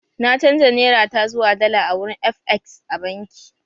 Na canza Nera ta zuwa dala a wurin FX a banki